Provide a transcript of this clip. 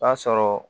O y'a sɔrɔ